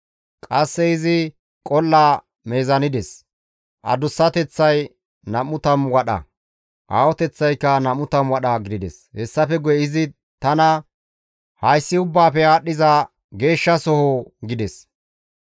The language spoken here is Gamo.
Qasse izi qol7a wadhdhides; adussateththay 20 wadha, aahoteththaykka 20 wadha gidides. Hessafe guye izi tana, «Hayssi Ubbaafe Aadhdhiza Geeshshasoho» gides.